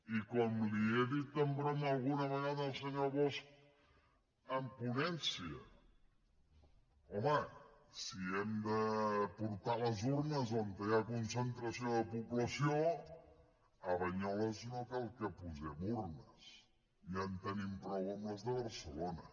i com li he dit de broma alguna vegada al senyor bosch en ponència home si hem de portar les urnes on hi ha concentració de població a banyoles no cal hi que posem urnes ja en tenim prou amb les de barcelona